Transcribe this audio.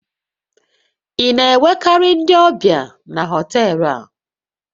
Ị na-enwekarị ndị ọbịa na họtel a?